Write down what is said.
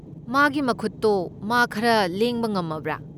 ꯃꯥꯒꯤ ꯃꯈꯨꯠꯇꯣ ꯃꯥ ꯈꯔ ꯂꯦꯡꯕ ꯉꯝꯃꯕ꯭ꯔꯥ?